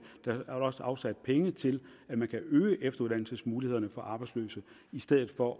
afsatte penge til at øge efteruddannelsesmulighederne for arbejdsløse i stedet for